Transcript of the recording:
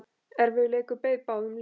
Erfiður leikur beið báðum liðum.